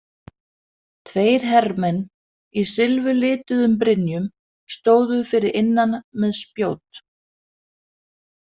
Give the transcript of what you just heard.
Tveir hermenn í silfurlituðum brynjum stóðu fyrir innan með spjót.